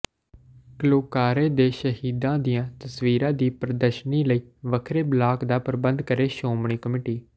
ਘੱਲੂਘਾਰੇ ਦੇ ਸ਼ਹੀਦਾਂ ਦੀਆਂ ਤਸਵੀਰਾਂ ਦੀ ਪ੍ਰਦਰਸ਼ਨੀ ਲਈ ਵੱਖਰੇ ਬਲਾਕ ਦਾ ਪ੍ਰਬੰਧ ਕਰੇ ਸ਼ੋਮਣੀ ਕਮੇਟੀ